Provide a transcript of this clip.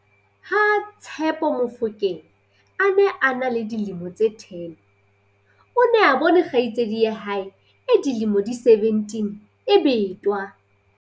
Ha- Tshepo Mofokeng a ne a le dilemo tse 10, o ne a bone kgaitsedi ya hae e dilemo di 17 e betwa.